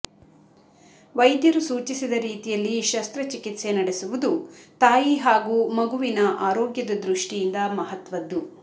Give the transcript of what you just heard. ವೈದ್ಯರು ಸೂಚಿಸಿದ ರೀತಿಯಲ್ಲಿ ಶಸ್ತ್ರಚಿಕಿತ್ಸೆ ನಡೆಸುವುದು ತಾಯಿ ಹಾಗೂ ಮಗುವಿನ ಆರೋಗ್ಯದ ದೃಷ್ಟಿಯಿಂದ ಮಹತ್ವದ್ದು